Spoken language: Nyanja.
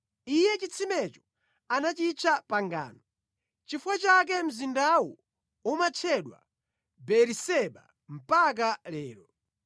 Iye chitsimecho anachitcha Pangano. Nʼchifukwa chake mzindawu umatchedwa Beeriseba mpaka lero.